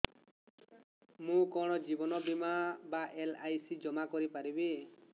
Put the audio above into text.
ମୁ କଣ ଜୀବନ ବୀମା ବା ଏଲ୍.ଆଇ.ସି ଜମା କରି ପାରିବି